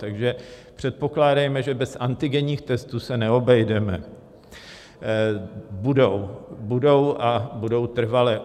Takže předpokládejme, že bez antigenních testů se neobejdeme, budou a budou trvale.